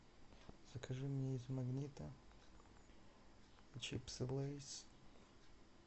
закажи мне из магнита чипсы лейс